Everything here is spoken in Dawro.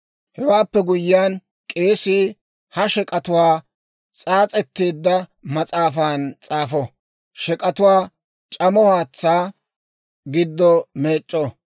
« ‹Hewaappe guyyiyaan, k'eesii ha shek'atuwaa s'aas'etteedda mas'aafan s'aafo; shek'atuwaa c'amo haatsaa giddo meec'c'o.